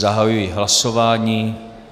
Zahajuji hlasování.